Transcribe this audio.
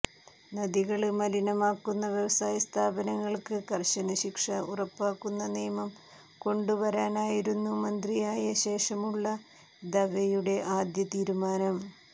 നദികള് മലിനമാക്കുന്ന വ്യവസായസ്ഥാപനങ്ങള്ക്ക് കര്ശന ശിക്ഷ ഉറപ്പാക്കുന്ന നിയമം കൊണ്ടുവരാനായിരുന്നു മന്ത്രിയായ ശേഷമുള്ള ദവെയുടെ ആദ്യ തീരുമാനം